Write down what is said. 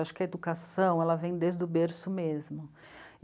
Acho que a educação ela vem desde o berço mesmo.